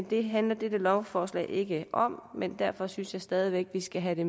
det handler dette lovforslag ikke om men derfor synes jeg stadig væk vi skal have